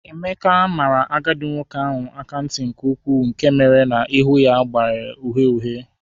Emeka mara agadi nwoke ahụ mma nke ukwuu nke mere na ihu ya gbanwere uhie uhie